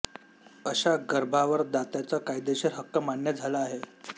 अशा गर्भांवर दात्याचा कायदेशीर हक्क मान्य झाला आहे